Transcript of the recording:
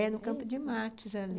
É, no Campo de Martes, ali.